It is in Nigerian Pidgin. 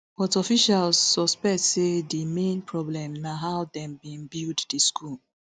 but officials suspect say di main problem na how dem bin build di school